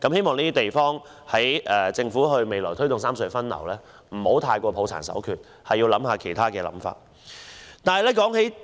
我希望政府推動三隧分流時，不要過於抱殘守缺，應考慮其他方法。